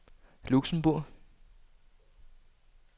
Luxembourg